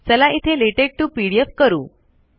चला इथे LaTeX to PDF करू